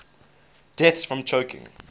deaths from choking